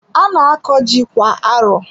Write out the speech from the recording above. A na-akọ ji kwa arọ.